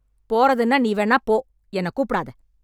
போறதுன்னா நீ வேணா போ... என்னக் கூப்டாத...